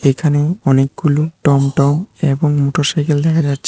এখানে অনেকগুলি টমটম এবং মোটরসাইকেল দেখা যাচ্ছে।